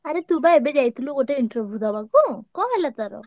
ଆରେ ତୁ ବା ଏବେ ଯାଇଥିଲୁ ଗୋଟେ interview ଦବାକୁ କଣ ହେଲା ତାର?